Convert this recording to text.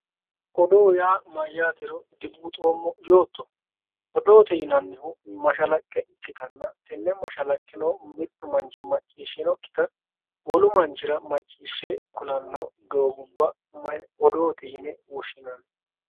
odoo yaa mayyaatero dibuuxoommo yootto? odoote yinannihu mashalaqqe ikkitanna tenne mashalaqqeno mittu manchi maciishinokkita wolu manchira macciishshe kulanno doogubba odoote yine woshshinanni .